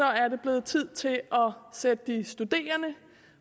er det blevet tid til at sætte de studerende